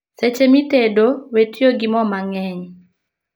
Seche mitedo, wee tiyo gi moo mang'eny